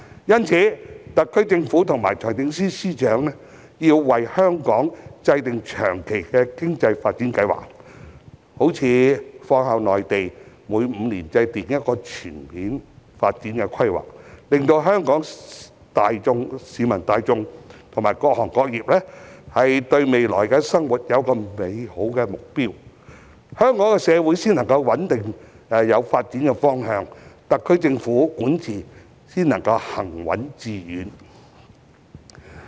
因此，特區政府和財政司司長要為香港制訂長期的經濟發展計劃，例如仿效內地每5年制訂一項全面發展規劃，令香港市民大眾和各行各業對未來的生活有美好的目標，香港社會才能朝穩定的方向發展，特區政府的管治才能行穩致遠。